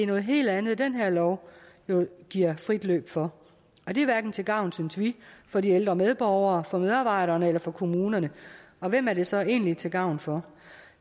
noget helt andet den her lov giver frit løb for og det er hverken til gavn synes vi for de ældre medborgere for medarbejderne eller for kommunerne og hvem er det så egentlig til gavn for